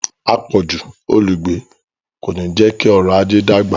“àpọ̀jù olùgbé ” kò ní jẹ́ kí ọrọ̀-ajé dàgbà.